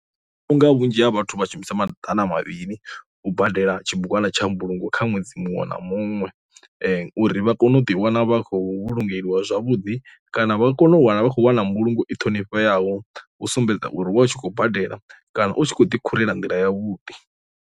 Vhunga vhunzhi ha vhathu vha shumisa maḓana mudavhili u badela tshibugwana tsha mbulungo kha ṅwedzi muṅwe na muṅwe, uri vha kone u ḓi wana vha khou vhulungeliwa zwavhuḓi kana vha kone u wana vha khou wana mbulungo i ṱhonifheaho u sumbedza uri wa hu tshi khou badela kana u tshi kho ḓi khurela nḓila ya vhuḓi.